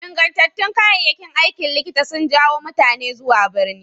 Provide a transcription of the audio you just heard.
Ingantattun kayayyakin aikin likita sun jawo mutane zuwa birni.